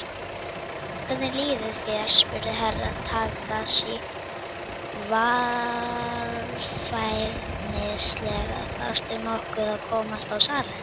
Hvernig líður þér spurði Herra Takashi varfærnislega, þarftu nokkuð að komast á salernið?